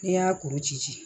N'i y'a kuru ci